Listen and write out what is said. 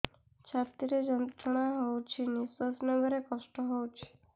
ଛାତି ରେ ଯନ୍ତ୍ରଣା ହଉଛି ନିଶ୍ୱାସ ନେବାରେ କଷ୍ଟ ହଉଛି